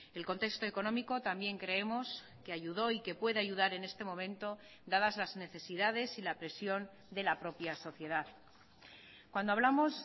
el contexto económico también creemos que ayudó y que puede ayudar en este momento dadas las necesidades y la presión de la propia sociedad cuando hablamos